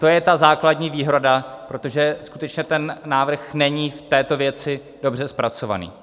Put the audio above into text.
To je ta základní výhrada, protože skutečně ten návrh není v této věci dobře zpracovaný.